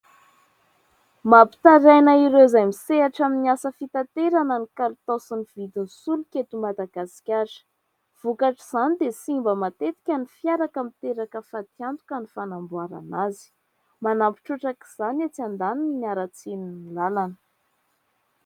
Mampitaraina ireo izay misehatra amin'ny asa fitaterana ny kalitao sy ny vidin'ny solika eto Madagasikara. Vokatr'izany dia simba matetika ny fiara ka miteraka fatiantoka ny fanamboarana azy. Manampy trotraka izany etsy andaniny ny haratsin'ny lalana.